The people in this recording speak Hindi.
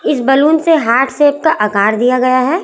इस बलून से हार्ट शेप का आकार दिया गया है।